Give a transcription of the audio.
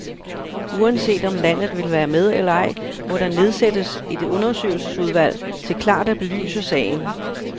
Uanset om landet vil være med eller ej, må der nedsættes et undersøgelsesudvalg til klart at belyse sagen.